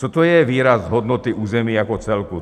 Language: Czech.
Co to je výraz "hodnoty území jako celku"?